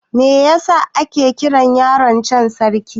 Me yasa ake kiran yaron can Sarki?